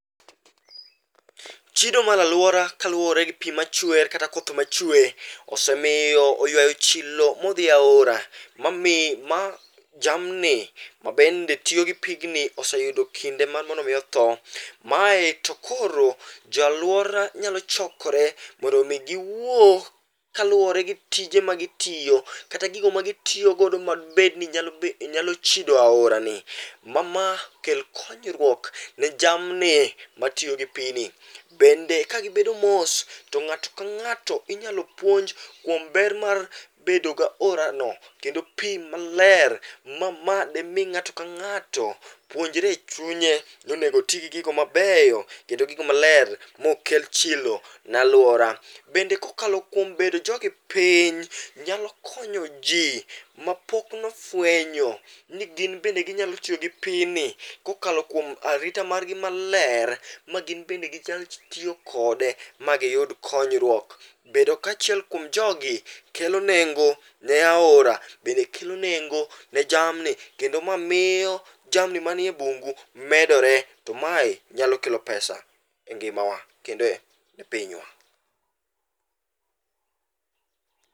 Chido mar alwora kaluwore gi pi machwer kata koth machwe, osemiyo oywayo chilo modhi aora ma jamni mabende tiyo gi pigni oseyudo kinde mar mondo mi otho. Mae to koro jo alwora nyalo chokore mondo mi giwuo kaluwore gi tije magitiyo, kata gigo ma gitiyogo madibed ni nyalo chido aorani, ma ma kel konyruok ne jamni matiyo gi pigni. Bende ka gibedo mos, to ng'ato ka ng'ato inyalo puonj kuom ber mar bedo ga orano, kendo pi maler. Ma ma de mi ng'ato ka ng'ato puonjre e chunye nonego oti gi gigo mabeyo kendo gigo maler mok kel chilo ne alwora. Bende kokalo bedo jogi piny, nyalo konyo ji mapok nofwenyo ni gin bende ginyalo tiyo gi pini, kokalo kuom arita margi maler. Ma gin bende ginyal tiyo kode, ma giyud konyruok. Bedo kaachiel kuom jogi kelo nengo ne aora, bende kelo nengo ne jamni. Kendo ma miyo jamni maniye bungu medore, to mae nyalo kelo pesa e ngimawa kendo e pinywa.